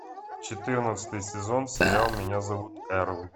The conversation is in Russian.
четырнадцатый сезон сериал меня зовут эрл